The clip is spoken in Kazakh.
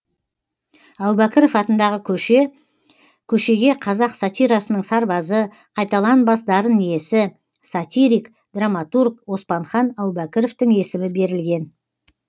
әубәкіров атындағы көше көшеге қазақ сатирасының сарбазы қайталанбас дарын иесі сатирик драматург оспанхан әубәкіровтың есімі берілген